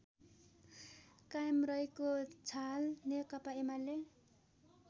कायम रहेको छहाल नेकपा एमाले